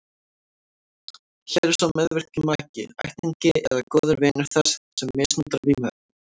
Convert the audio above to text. Hér er sá meðvirki maki, ættingi eða góður vinur þess sem misnotar vímuefnin.